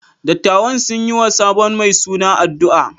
Dattawan sun yi wa sabon mai suna addu’a.